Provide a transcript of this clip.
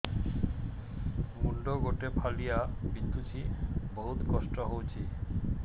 ମୁଣ୍ଡ ଗୋଟେ ଫାଳିଆ ବିନ୍ଧୁଚି ବହୁତ କଷ୍ଟ ହଉଚି